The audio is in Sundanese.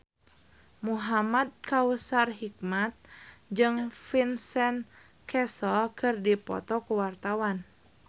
Muhamad Kautsar Hikmat jeung Vincent Cassel keur dipoto ku wartawan